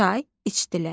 Çay içdilər.